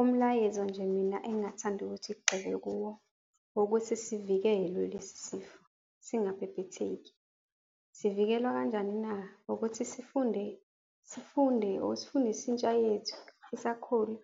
Umlayezo nje mina engingathanda ukuthi kugxilwe kuwo owokuthi sivikelwe lesi sifo singabhebhetheki. Sivikelwa kanjani na? Ukuthi sifunde, sifunde or sifundise intsha yethu esakhula